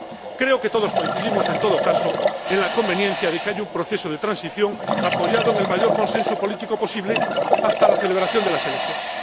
Creo que todos coincidimos, en todo caso, en la conveniencia de que haya un proceso de transición, apoyado en el mayor consenso político posible, hasta la celebración de las elecciones.